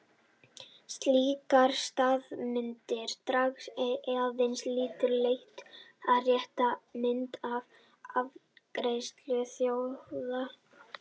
Slíkar staðalmyndir draga aðeins að litlu leyti upp rétta mynd af áfengisneyslu þjóða.